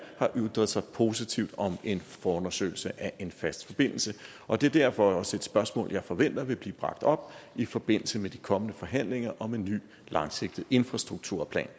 har ytret sig positivt om en forundersøgelse af en fast forbindelse og det er derfor også et spørgsmål jeg forventer vil blive bragt op i forbindelse med de kommende forhandlinger om en ny langsigtet infrastrukturplan